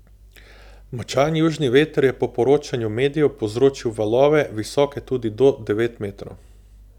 Močan južni veter je po poročanju medijev povzročil valove, visoke tudi do devet metrov.